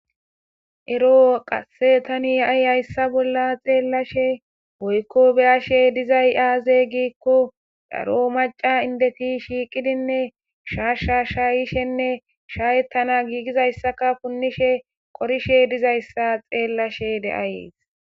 Ero tani haysa bolla xelashe woyiko be'ashe dizayis aze giiko daro maca ayeti shiqidine shasha shayishenee shayetanawu hanidayisa punishene qorishe dizayisa xelays